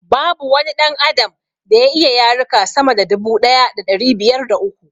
Babu wani ɗan adam da ya iya yaruka sama da dubu daya da ɗari biyar da uku